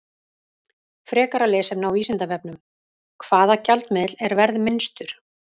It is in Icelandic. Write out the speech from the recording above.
Frekara lesefni á Vísindavefnum: Hvaða gjaldmiðill er verðminnstur?